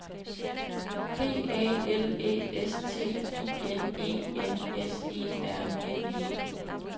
P A L Æ S T I N E N S E R N E